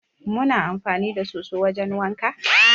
Mu na amfani da soso wajen wanka.